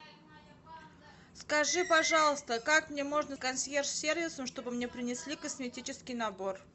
скажи пожалуйста как мне можно консьерж сервисом чтобы мне принесли косметический набор